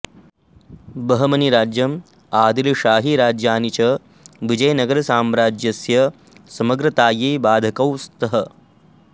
बहमनी राज्यं आदिलषाहिराज्यानि च विजयनगरसाम्राज्यस्य समग्रतायै बाधकौ स्तः